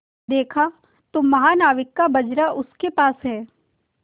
देखा तो महानाविक का बजरा उसके पास है